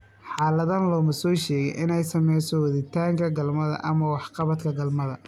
Xaaladdan looma soo sheegin inay saamayso waditaanka galmada ama waxqabadka galmada.